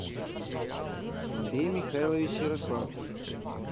андрей михайлович ярославцев